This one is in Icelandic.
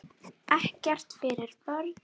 Ekkert fyrir börn.